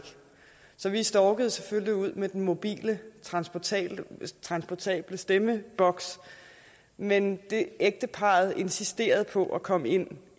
så vi storkede selvfølgelig ud med den mobile transportable transportable stemmeboks men ægteparret insisterede på at komme ind